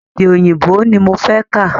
Èdè òyìnbó ní mo fẹ́ kà.